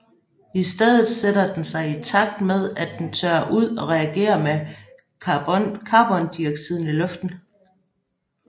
I stedet sætter den sig i takt med at den tørrer ud og reagerer med carbondioxiden i luften